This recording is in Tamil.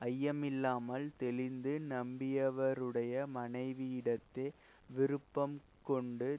ஐயமில்லாமல் தெளிந்து நம்பியவருடைய மனைவியிடத்தே விருப்பம் கொண்டு